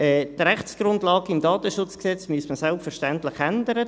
Die Rechtsgrundlage im KDSG müsste man selbstverständlich ändern.